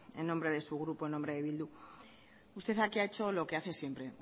en nombre de su grupo en nombre de bildu usted aquí hahecho lo que hace siempre